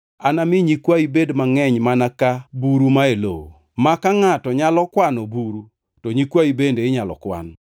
Anami nyikwayi bed mangʼeny mana ka buru mae lowo; ma ka ngʼato nyalo kwano buru, to nyikwayi bende inyalo kwan.